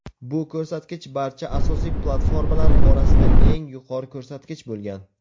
bu ko‘rsatkich barcha asosiy platformalar orasida eng yuqori ko‘rsatkich bo‘lgan.